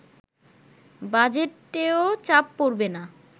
বাজেটেও চাপ পড়বে না